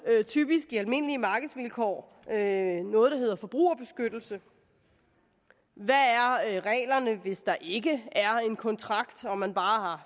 typisk i almindelige markedsvilkår noget der hedder forbrugerbeskyttelse hvad er reglerne hvis der ikke er en kontrakt og man bare har